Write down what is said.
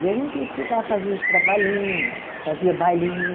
E a gente ia ficar, fazia os trabalhinho, fazia bailinho.